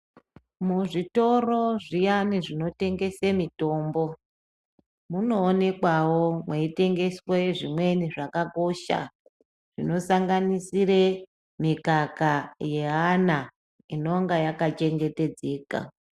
Muzvitoro zviyani zvinotengesa mutombo munoonekwawo mweitengeswa zvimweni zvakakosha zvinosanganisira mikaka yeana inonga yaka chengetedzeka.